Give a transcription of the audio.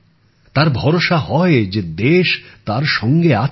তার ভরসা হয় যে দেশ তার সঙ্গে আছে